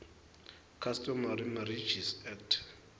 customary marriages act